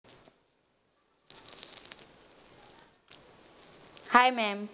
hi mam